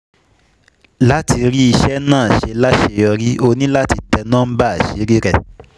Láti rí iṣẹ́ náà ṣe láṣeyọrí, o ní láti tẹ núḿbà àṣírí rẹ.